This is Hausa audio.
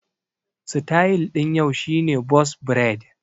Sityl ɗin yau shi ne bos braid